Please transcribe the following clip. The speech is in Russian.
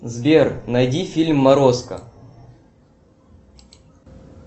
сбер найди фильм морозко